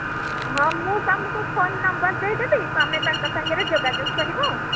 ହଁ ମୁଁ ତମକୁ ତାଙ୍କ phone number ଦେଇଦେବି ତମେ ତାଙ୍କ ସାଙ୍ଗରେ ଯୋଗାଯୋଗ କରିବ